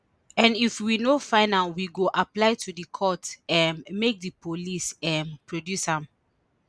and if we no find am we go apply to di court um make di police um produce am